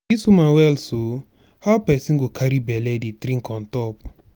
dis woman well so? how person go carry bele dey drink on top.